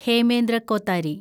Hemendra Kothari